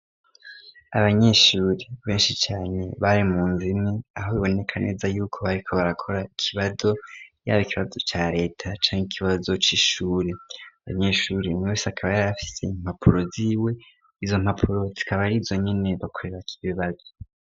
Abanyeshuri benshi cane bari mu nzime aho biboneka neza yuko bariko barakora ikibazo yabo ikibazo ca leta canke ikiba bazocaishuri abanyeshuri umwe wese akaba yarafise impapuro ziwe izo mpapuro zikaba ari zo nyene bakorera ko ibibazo.